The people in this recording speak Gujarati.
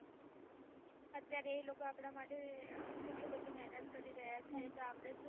અત્યારે એ લોકો અપડા માટે કેટલી મહેનત કરી રહ્યા છે તો અપડે સુ